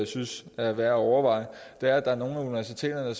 synes er værd at overveje er at nogle af universiteterne